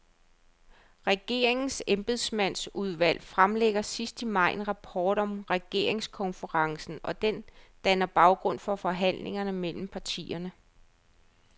Regeringens embedsmandsudvalg fremlægger sidst i maj en rapport om regeringskonferencen, og den danner baggrund for forhandlingerne mellem partierne.